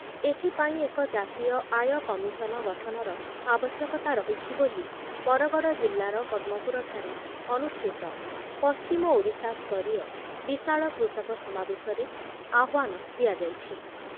ଏଥିପାଇଁ ଏକ ଜାତୀୟ ଆୟ କମିଶନ ଗଠନର ଆବଶ୍ୟକ‌ତା ରହିଛି ବୋଲି ବରଗଡ଼ ଜିଲ୍ଲାର ପଦ୍ମପୁରଠାରେ ଅନୁଷ୍ଠିତ ପଶ୍ଚିମ ଓଡ଼ିଶା ସ୍ତରୀୟ ବିଶାଳ କୃଷକ ସମାବେଶରେ ଆହ୍ବାନ ଦିଆଯାଇଛି।